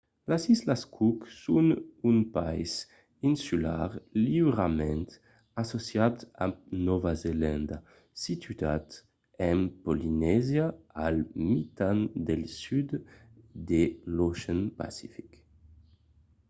las islas cook son un país insular liurament associat amb nòva zelanda situat en polinesia al mitan del sud de l'ocean pacific